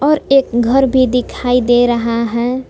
और एक घर भी दिखाई दे रहा है।